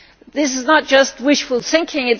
This is not just wishful thinking.